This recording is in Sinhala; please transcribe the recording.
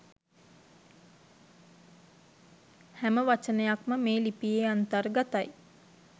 හැම වචනයක්ම මේ ලිපියේ අන්තර්ගතයි.